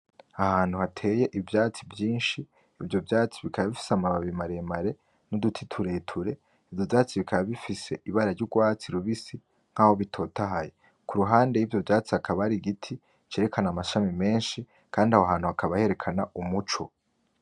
Ahantu hateye ivyatsi vyinshi ivyo vyatsi bikaba bifise amababi maremare n'uduti tureture, ivyo vyatsi bikaba bifise ibara ry'ugwatsi rubisi nkaho bitotahaye, kuruhande y'ivyo vyatsi hakaba hari igiti cerekana amashami menshi Kandi ahohantu hakaba herekana umuco.